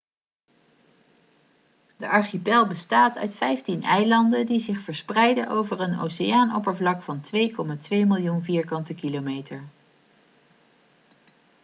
de archipel bestaat uit 15 eilanden die zich verspreiden over een oceaanoppervlak van 2,2 miljoen km2